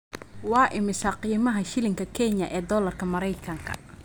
Waa imisa qiimaha shilinka Kenya ee dollarka Maraykanka?